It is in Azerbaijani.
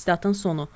Statın sonu.